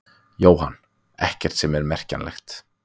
Jóhann: Ekkert sem er merkjanlegt?